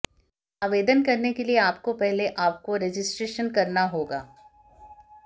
आवेदन करने के लिए आपको पहले आपको रजिस्ट्रेशन करना होगा